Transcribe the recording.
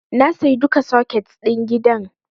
Na sayi duka soket ɗin gidan.